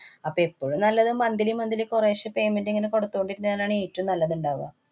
അപ്പൊ എപ്പോഴും നല്ലത് monthly monthly കുറേശ്ശെ payment ഇങ്ങനെ കൊടുത്തോണ്ടിരുന്നാലാണ് ഏറ്റോം നല്ലത് ഇണ്ടാവ.